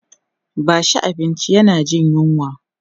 bashi abinci yana Jin yunwa!